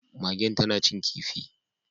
Magen tana cin kifi